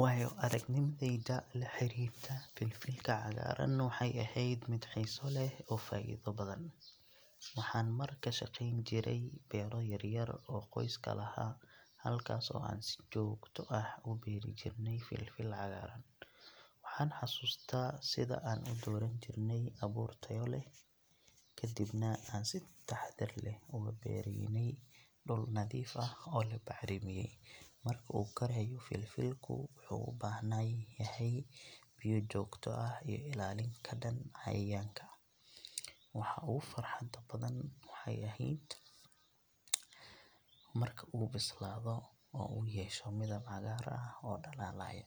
Waayo-aragnimadayda la xiriirta filfilka cagaaran waxay ahayd mid xiiso leh oo faa’iido badan. Waxaan mar ka shaqeyn jiray beero yar yar oo qoyska lahaa, halkaas oo aan si joogto ah u beeri jirnay filfil cagaaran. Waxaan xasuustaa sida aan u dooran jirnay abuur tayo leh, kadibna aan si taxaddar leh ugu beeraynay dhul nadiif ah oo la bacrimiyay. Marka uu korayo filfilku, wuxuu u baahan yahay biyo joogto ah iyo ilaalin ka dhan ah cayayaanka. Waxa ugu farxadda badan waxay ahayd marka uu bislaado oo uu yeesho midab cagaar ah oo dhalaalaya,